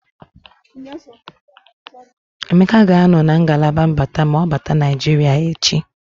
Emeka ga-anọ na ngalaba mbata ma ọ bata Naịjiria echi.